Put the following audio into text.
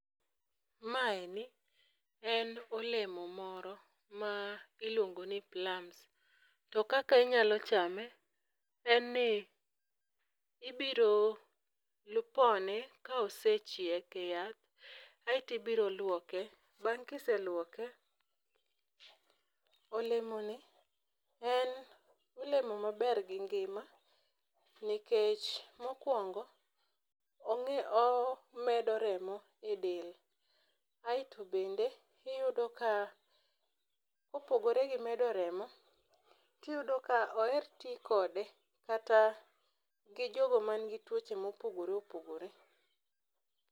Ma eni en olemo moro ma iluongo ni plasm. To kaka inyalo chame en ni ibiro lu pone ka osechiek e yath aeti biro luoke bang' kiseluoke olemo ni en olemo maber gi ngima nikech mokwongo ong'i omedo remo e del. Aeto bende iyudo ka kopogore gi medo remo iyudo ka oher tii kode kata gi jogo man gi tuoche mopogore opogore.